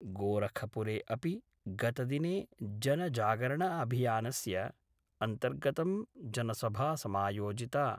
गोरखपुरे अपि गतदिने जनजागरण अभियानस्य अन्तर्गतं जनसभा समायोजिता।